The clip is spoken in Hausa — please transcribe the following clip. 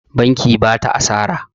Banki ba ta asara.